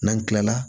N'an tilala